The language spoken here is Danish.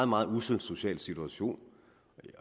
meget ussel social situation